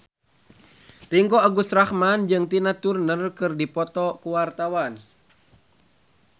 Ringgo Agus Rahman jeung Tina Turner keur dipoto ku wartawan